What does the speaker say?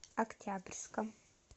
октябрьском